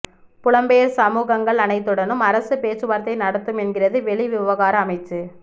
புலம்பெயர் சமூகங்கள் அனைத்துடனும் அரசு பேச்சுவார்த்தை நடத்தும் என்கிறது வெளிவிவகார அமைச்சு